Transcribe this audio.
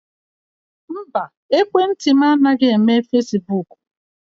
Mba, ekwentị m anaghị eme fesibuuku.